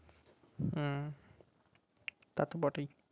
হুম তা তো বটেই